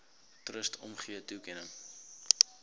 trust omgee toekenning